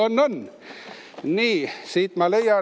On-on!